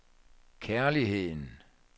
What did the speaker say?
kærligheden